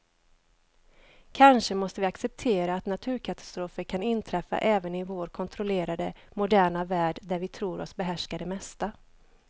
Kanske måste vi acceptera att naturkatastrofer kan inträffa även i vår kontrollerade, moderna värld där vi tror oss behärska det mesta.